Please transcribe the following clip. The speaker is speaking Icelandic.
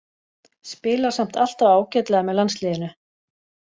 Spilar samt alltaf ágætlega með landsliðinu.